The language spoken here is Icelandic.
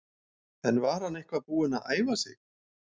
En var hann eitthvað búinn að æfa sig?